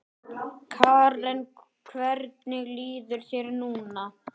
Karen: Hvernig líður þér núna?